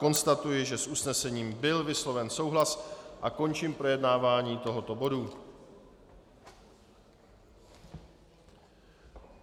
Konstatuji, že s usnesením byl vysloven souhlas, a končím projednávání tohoto bodu.